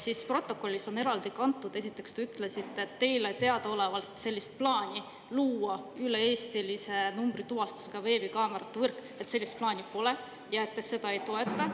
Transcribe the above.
Siis protokolli on eraldi kantud, esiteks, te ütlesite, et teile teadaolevalt sellist plaani luua üle-eestilise numbrituvastusega veebikaamerate võrk, et sellist plaani pole, ja et te seda ei toeta.